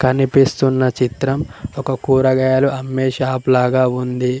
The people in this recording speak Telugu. కనిపిస్తున్న చిత్రం ఒక కూరగాయలు అమ్మే షాప్ లాగా ఉంది.